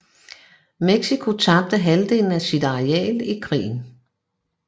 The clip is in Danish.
Mexico tabte halvdelen af sit areal i krigen